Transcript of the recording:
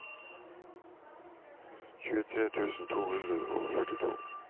tjuetre tusen to hundre og førtito